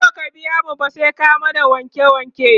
in baka biya mu ba, sai ka mana wanke wanke